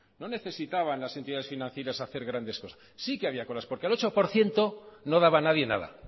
no necesitaban las entidades financieras hacer grandes cosas sí que había colas porque el ocho por ciento no daba nadie nada